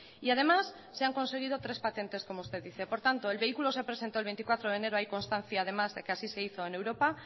y además se han conseguido tres patentes como usted dice por tanto el vehículo se presento el veinticuatro de enero hay constancia además de que así se hizo en europa